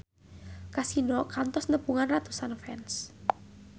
Kasino kantos nepungan ratusan fans